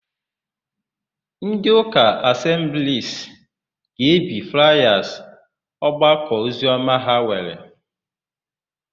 Ndịụka Asembliisi ga-ebi flaya ọgbakọoziọma ha nwere.